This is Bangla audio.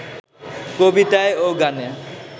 কবিতায় ও গানে